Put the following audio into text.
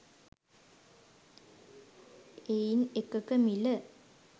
එයින් එකක මිල